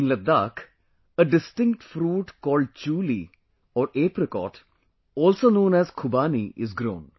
In Ladakh, a distinct fruit called chooli or apricot also known as Khubani is grown